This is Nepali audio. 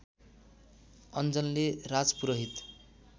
अन्जनले राजपुरोहित